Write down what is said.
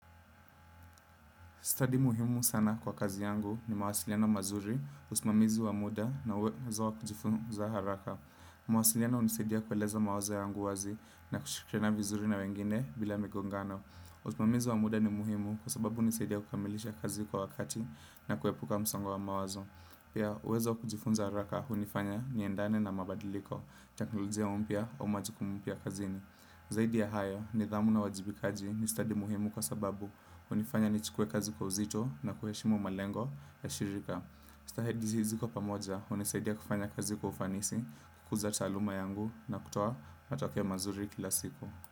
Study muhimu sana kwa kazi yangu ni mawasiliano mazuri, usimamizi wa muda na uwezo wa kujifunza haraka. Mawasiliano hunisaidia kueleza mawazo yangu wazi na kushirikiana vizuri na wengine bila migongano. Usimamizi wa muda ni muhimu kwa sababu hunisaidia kukamilisha kazi kwa wakati na kuepuka msongo wa mawazo. Pia, uwezo wa kujifunza haraka hunifanya niendane na mabadiliko, teknolojia mpya majikumu mpya kazini. Zaidi ya hayo nidhamu na wajibikaji ni study muhimu kwa sababu. Kunifanya nichukuwe kazi kwa uzito na kuheshimu malengo ya shirika stahedi zisiko pamoja, hunisaidia kufanya kazi kwa ufanisi, kukuza taaluma yangu na kutoa matakeo mazuri kila siku.